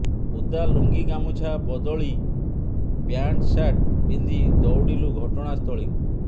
ଓଦା ଲୁଙ୍ଗିଗାମୁଛା ବଦଳି ପ୍ୟାଂଟ୍ସାର୍ଟ ପିନ୍ଧି ଦୌଡ଼ିଲୁ ଘଟଣା ସ୍ଥଳୀକୁ